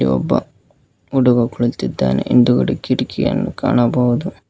ಒಬ್ಬ ಹುಡುಗ ಕುಳಿತಿದ್ದಾನೆ ಹಿಂದುಗಡೆ ಕಿಟಕಿಯನ್ನು ಕಾಣಬಹುದು.